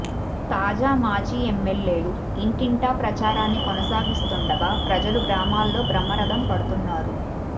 తాజా మాజీ ఎంఎల్ఏలు ఇంటింటా ప్రచారాన్ని కొనసాగిస్తుండగా ప్రజలు గ్రామాల్లో బ్రహ్మరథం పడుతున్నారు